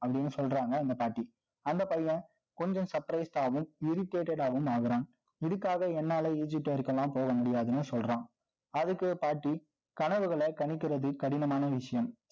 அப்படின்னு சொல்றாங்க, அந்த பாட்டி. அந்த பையன், கொஞ்சம் surprise ஆவும், irritated ஆவும் ஆகுறான். இதுக்காக, என்னால egypt பெயருக்கு எல்லாம், போக முடியாதுன்னு சொல்றான் அதுக்கு பாட்டி, கனவுகளை கணிக்கிறது கடினமான விஷயம்